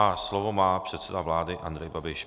A slovo má předseda vlády Andrej Babiš.